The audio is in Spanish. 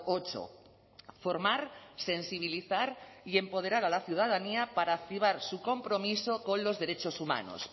ocho formar sensibilizar y empoderar a la ciudadanía para activar su compromiso con los derechos humanos